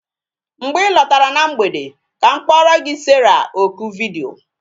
Mgbe ị lọtara na mgbede ka m kporo gi Sarah oku vidiyo